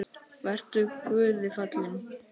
Vertu Guði falinn.